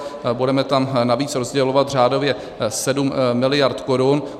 Budeme tam navíc rozdělovat řádově 7 miliard korun.